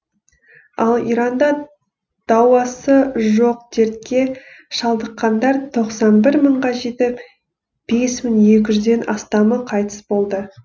ал иранда дауасы жоқ дертке шалдыққандар тоқсан бір мыңға жетіп бес мың екі жүзден астамы қайтыс болды